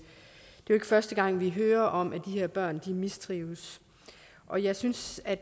er ikke første gang vi hører om at de her børn mistrives og jeg synes at